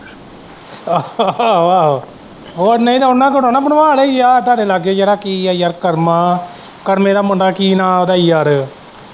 ਆਹੋ ਆਹੋ ਹੋਰ ਨਹੀਂ ਤੇ ਉਹਨਾਂ ਕੇਲ ਨਾ ਬਣਵਾ ਲਿਆਇਏ ਆਹ ਤੁਹਾਡੇ ਲਾਗੇ ਜਿਹੜਾ ਕੀ ਹੈ ਯਾਰ ਕਰਮਾ ਕਰਮੇ ਦਾ ਮੁੰਡਾ ਕੀ ਨਾਂ ਹੈ ਉਹਦਾ ਯਾਰ।